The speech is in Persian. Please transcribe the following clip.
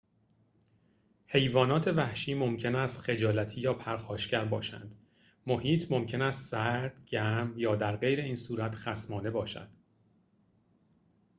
حیوانات وحشی ممکن است خجالتی یا پرخاشگر باشند محیط ممکن است سرد گرم یا درغیراین‌صورت خصمانه باشد